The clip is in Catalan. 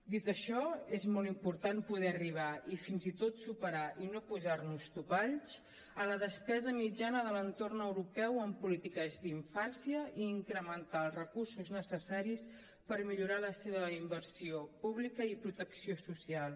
dit això és molt important poder arribar i fins i tot superar i no posar nos topalls a la despesa mitjana de l’entorn europeu en polítiques d’infància i incrementar els recursos necessaris per millorar la seva inversió pública i protecció social